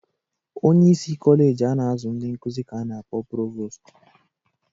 Onyeisi Kọleji a na-azụ ndị nkụzị ka a na-akpọ provostu